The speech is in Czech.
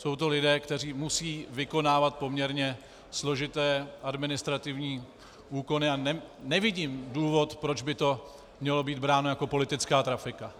Jsou to lidé, kteří musí vykonávat poměrně složité administrativní úkony, a nevidím důvod, proč by to mělo být bráno jako politická trafika.